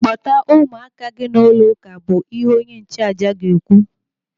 Kpọta ụmụaka gị n'ụlọ ụka bụ ihe onye nchụàjà ga-ekwu.